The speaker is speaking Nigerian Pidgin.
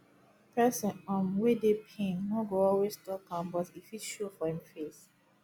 person um wey dey pain no go always talk am but e fit show for im face